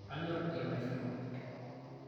kanyor ilmaisurin